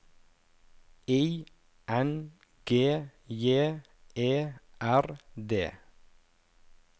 I N G J E R D